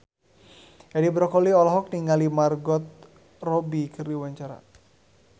Edi Brokoli olohok ningali Margot Robbie keur diwawancara